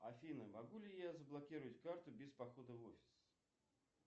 афина могу ли я заблокировать карту без похода в офис